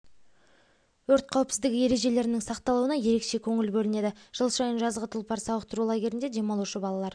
өрт қауіпсіздігі ережелерінің сақталуына ерекше көңіл бөлінеді жыл сайын жазғы тұлпар сауықтыру лагерінде демалушы балалар